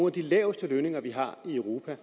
af de laveste lønninger vi har i europa og